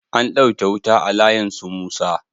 An ɗauke wuta a layin su musa